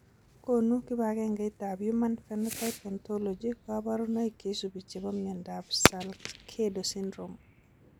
Konu kibagengeitab Human Phenotype Ontology kaborunoik cheisubi chebo miondop Salcedo syndrome.